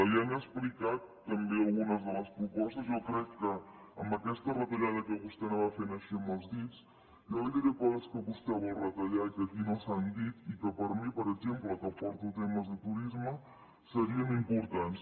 li han explicat també algunes de les propostes jo crec que amb aquesta retallada que vostè anava fent així amb els dits jo li diré coses que vostè vol retallar i que aquí no s’han dit i que per mi per exemple que porto temes de turisme serien importants